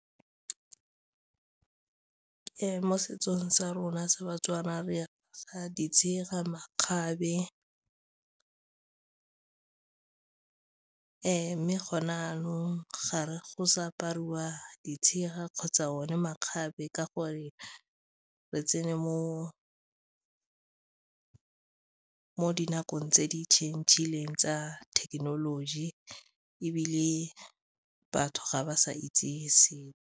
Mo setsong sa rona sa ba-Tswana re apara ditshega, makgabe mme gone jaanong ga go sa apariwa ditshega kgotsa one makgabe ka gore re tsene mo dinakong tse di-change-ileng tsa thekenoloji ebile batho ga ba sa itse sepe.